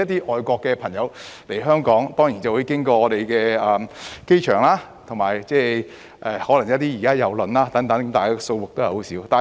外國的朋友來港當然會經香港的機場，亦有可能是乘坐郵輪，但相關數字仍十分少。